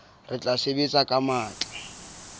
re tla sebetsa ka matla